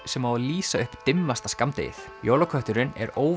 sem á að lýsa upp dimmasta skammdegið jólakötturinn er